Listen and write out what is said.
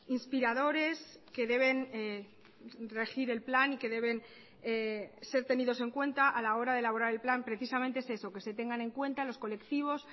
inspiradores que deben regir el plan y que deben ser tenidos en cuenta a la hora de elaborar el plan precisamente es eso que se tengan en cuenta los colectivos